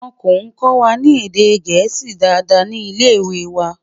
wón kò kọwa ní èdè gẹ̀ẹ́sì Dàda ní ilẹ ìwé wà